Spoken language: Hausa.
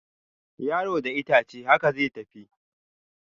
Yaro da itace, haka zai tafi